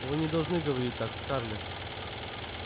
вы не должны говорить так скарлетт